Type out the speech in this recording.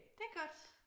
Det er godt